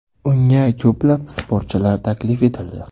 Unga ko‘plab sportchilar taklif etildi.